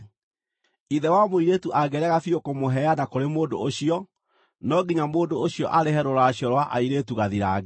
Ithe wa mũirĩtu angĩrega biũ kũmũheana kũrĩ mũndũ ũcio, no nginya mũndũ ũcio arĩhe rũracio rwa airĩtu gathirange.